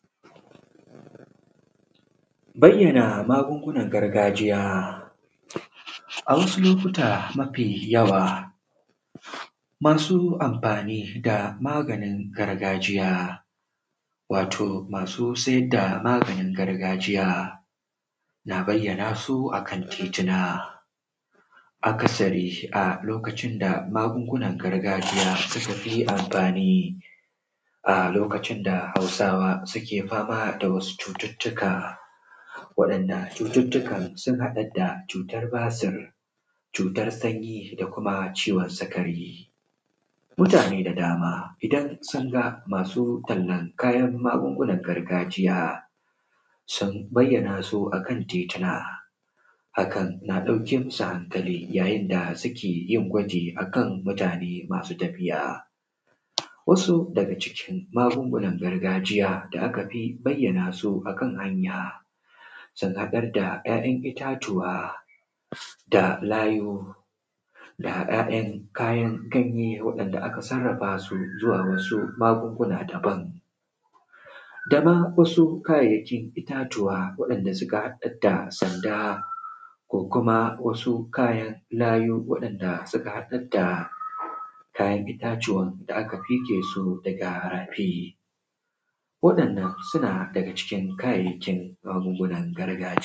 bayyana magungunan gargajiya a wasu lokuta mafi yawa masu amfani da maganin gargajiya wato masu sai da maganin gargajiya na bayyana su a kan tituna akasari a lokacin da magungunan gargajiya suka fi amfani a lokacin da hausawa suke fama da wasu cututtuka waɗanda cututtukan sun haɗar da cutar basur cutar sanyi da kuma ciwon sikari mutane da dama idan sun ga masu tallan kayan magungunan gargajiya sun bayyana su a kan tituna hakan na ɗauke musu hankali yayin da suke yin gwaji a kan mutane masu tafiya wasu daga cikin magungunan gargajiya da aka fi bayyana su a kan hanya sun haɗar da ‘ya’yan itatuwa da layu da 'ya'yan kayan ganye waɗanda aka sarrafa su zuwa wasu magunguna daban da ma wasu kayayyakin itatuwa waɗanda suka haɗar da sanda ko kuma wasu kayan layu waɗanda suka haɗar da kayan itatuwan da aka fige su daga rafi waɗannan suna daga cikin kayayyakin magungunan gargajiya